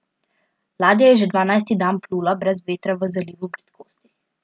Ladja je že dvanajsti dan plula brez vetra v Zalivu bridkosti.